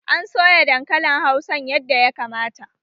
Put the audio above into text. An soya dankalin hausan yadda ya kamata